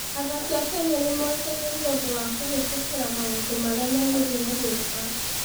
Athaki a Kenya nĩ moĩkaine nĩ ũndũ wa kũhĩtũkĩra maũndũ marĩa merĩgĩrĩirũo gwĩka.